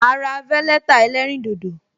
Ma ra veleta ẹlẹ́rìn dodo